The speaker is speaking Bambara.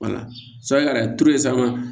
sabu ka na turu ye sanga